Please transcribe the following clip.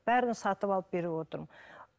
бәрін сатып алып беріп отырмын